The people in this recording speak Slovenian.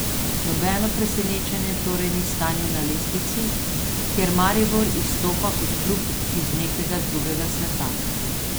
Nobeno presenečenje torej ni stanje na lestvici, kjer Maribor izstopa kot klub iz nekega drugega sveta.